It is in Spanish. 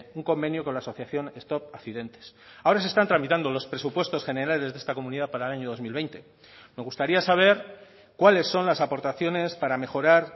un convenio con la asociación stop accidentes ahora se están tramitando los presupuestos generales de esta comunidad para el año dos mil veinte me gustaría saber cuáles son las aportaciones para mejorar